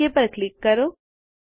okay પર click કરો